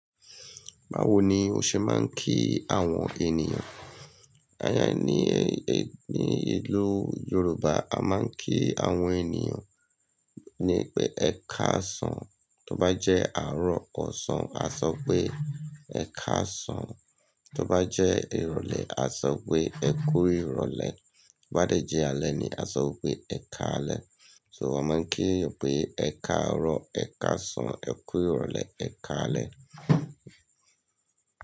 Báwo ni o ṣe máa ń kí àwọn ènìyàn? Ni ìlú Yorùbá, a máa ń kí àwọn ènìyàn pé "ẹ káàsán". Tó bá jẹ́ àárọ̀ ọ̀sán, a sọ pé "ẹ káàsán". Tó bá jẹ́ ìrọ̀lẹ́, a sọ pé "ẹ kú ìrọ̀lẹ́". Bí bá dẹ̀ jẹ́ alẹ́ ni, a sọ pé "ẹ ká alẹ́". So wọ́n máa ń kí pé "ẹ ká àárọ̀, ẹ ká àsán, ẹ kú ìrọ̀lẹ́, ẹ ká alẹ́".